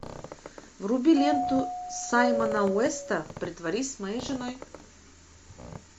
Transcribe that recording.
вруби ленту саймона уэста притворись моей женой